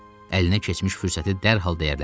Əlinə keçmiş fürsəti dərhal dəyərləndirdi.